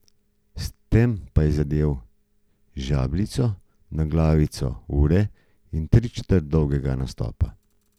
S tem pa je zadel žebljico na glavico ure in tričetrt dolgega nastopa.